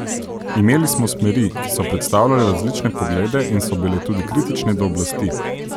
Imeli smo smeri, ki so predstavljale različne poglede in so bile tudi kritične do oblasti.